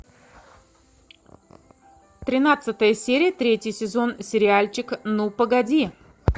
тринадцатая серия третий сезон сериальчик ну погоди